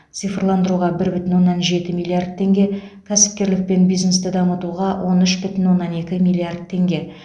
цифрландыруға бір бүтін оннан жеті миллиард теңге кәсіпкерлік пен бизнесті дамытуға он үш бүтін оннан екі миллиард теңге